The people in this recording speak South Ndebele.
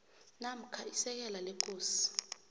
namkha isekela lekosi